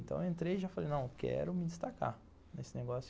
Então eu entrei e já falei, não, eu quero me destacar nesse negócio.